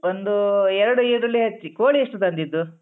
ಒಂದೂ ಎರ್ಡು ಈರುಳ್ಳಿ ಹೆಚ್ಚಿ ಕೋಳಿ ಎಷ್ಟು ತಂದಿದ್ದು?